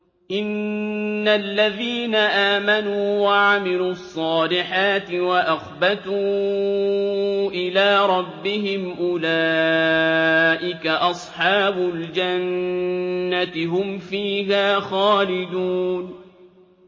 إِنَّ الَّذِينَ آمَنُوا وَعَمِلُوا الصَّالِحَاتِ وَأَخْبَتُوا إِلَىٰ رَبِّهِمْ أُولَٰئِكَ أَصْحَابُ الْجَنَّةِ ۖ هُمْ فِيهَا خَالِدُونَ